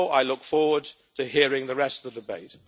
Therefore, I look forward to hearing the rest of the debate.